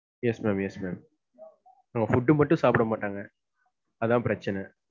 Yes ma'am, yes ma'am food மட்டும் சாப்பிட மாட்டாங்க. அதான் பிரச்சனை.